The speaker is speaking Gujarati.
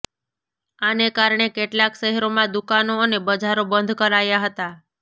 આને કારણે કેટલાંક શહેરોમાં દુકાનો અને બજારો બંધ કરાયાં હતાં